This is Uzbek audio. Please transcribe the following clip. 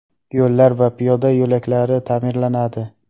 Yo‘llar va piyoda yo‘lkalari ta’mirlanadi.